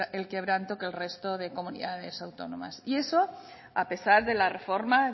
el quebranto que el resto de comunidades autónomas y eso a pesar de la reforma